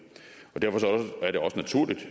derfor